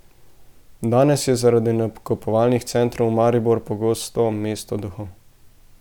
Danes je zaradi nakupovalnih centrov Maribor pogosto mesto duhov.